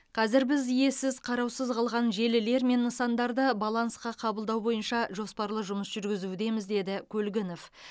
қазір біз иесіз қараусыз қалған желілер мен нысандарды балансқа қабылдау бойынша жоспарлы жұмыс жүргізудеміз деді көлгінов